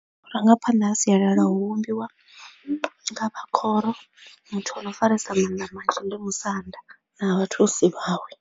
Vhurangaphanḓa ha sialala hu vhumbiwa nga vha khoro muthu a no faresa mannḓa manzhi ndi musanda na vhathusi vhawe.